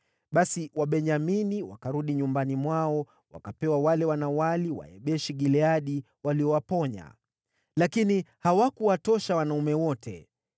Basi Wabenyamini wakarudi nyumbani mwao, wakapewa wale wanawali wa Yabeshi-Gileadi waliowaponya. Lakini hawakuwatosha wanaume wote.